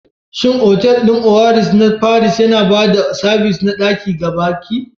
Shin otal ɗin Oasis na Paris yana ba da sabis na ɗaki ga baƙi?